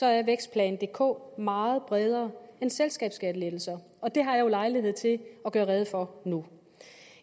er vækstplan dk meget bredere end selskabsskattelettelser og det har jeg jo lejlighed til at gøre rede for nu